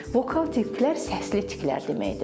Vokal tiklər səsli tiklər deməkdir.